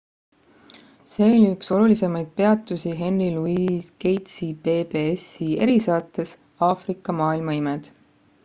see oli üks olulisemaid peatusi henry louis gatesi pbs-i erisaates aafrika maailma imed